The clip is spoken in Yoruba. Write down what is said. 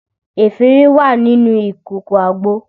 Efinrin wà nínú ìkòkò àgbo